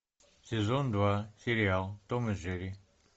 сезон два сериал том и джерри